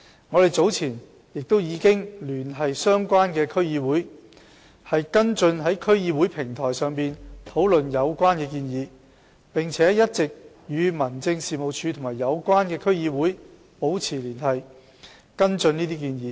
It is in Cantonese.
我們早前亦已聯繫相關的區議會，跟進在區議會平台上討論有關建議，並且一直與民政事務處及有關區議會保持聯繫和跟進有關建議。